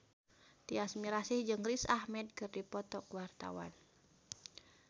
Tyas Mirasih jeung Riz Ahmed keur dipoto ku wartawan